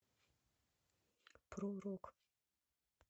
про рок